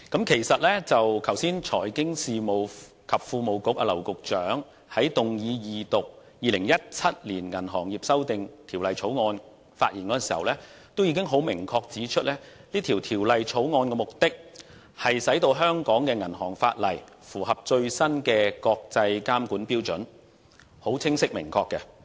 其實剛才財經事務及庫務局劉局長發言動議二讀《2017年銀行業條例草案》時，已明確指出這項《條例草案》的目的，是令香港的銀行法例符合最新的國際監管標準，是很清晰明確的。